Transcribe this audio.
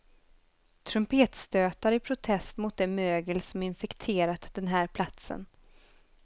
Trumpetstötar i protest mot det mögel som infekterat den här platsen.